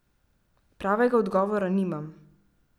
Pravega odgovora nimam.